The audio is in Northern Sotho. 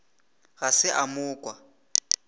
ga se a mo kwa